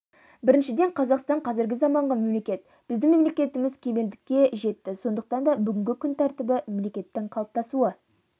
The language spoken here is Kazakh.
біріншіден қазақстан қазіргі заманғы мемлекет біздің мемлекетіміз кемелдікке жетті сондықтан да бүгінгі күн тәртібі мемлекеттің қалыптасуы